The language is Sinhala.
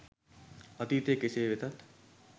අතීතය කෙසේ වෙතත්